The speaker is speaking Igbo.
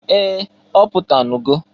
Ee! Ọ pụtanụgo.